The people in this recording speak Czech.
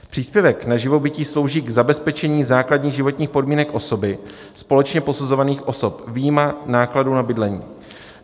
Příspěvek na živobytí slouží k zabezpečení základních životních podmínek osoby společně posuzovaných osob vyjma nákladů na bydlení.